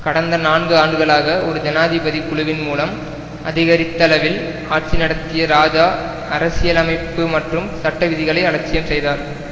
கடந்த நான்கு ஆண்டுகளாக ஒரு ஜனாதிபதி குழுவின் மூலம் அதிகரித்தளவில் ஆட்சி நடத்திய இராஜா அரசியலமைப்பு மற்றும் சட்ட விதிகளை அலட்சியம் செய்தார்